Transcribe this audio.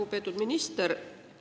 Lugupeetud minister!